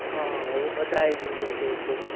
હા એ બધા એ જોયુ હશે એટલે તો